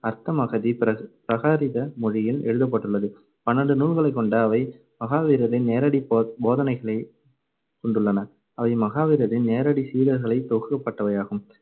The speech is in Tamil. அர்த்தமகதி பிர~ பிராதிக மொழியில் எழுதப்பட்டுள்ளது. பன்னிரெண்டு நூல்களைக் கொண்ட அவை மகாவீரரின் நேரடி போதனைகளைக் கொண்டுள்ளன. அவை மகாவீரரின் நேரடிச் சீடர்களை தொகுக்கப்பட்டவையாகும்.